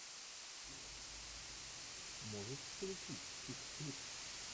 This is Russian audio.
можешь включить чик флик